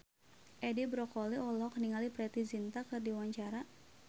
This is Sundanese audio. Edi Brokoli olohok ningali Preity Zinta keur diwawancara